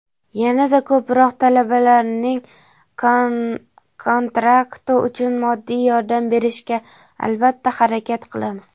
yana-da ko‘proq talabalarning kontrakti uchun moddiy yordam berishga albatta harakat qilamiz.